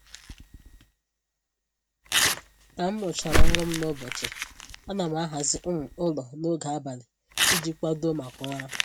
Ka m rụchara ọrụ m n'ụbọchị, ana m ahazi um ụlọ n'oge abalị iji kwadoo maka ụra